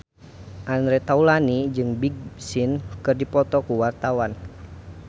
Andre Taulany jeung Big Sean keur dipoto ku wartawan